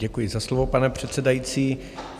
Děkuji za slovo, pane předsedající.